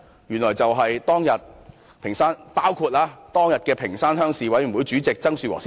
原來包括當日的屏山鄉鄉事委員會主席曾樹和先生。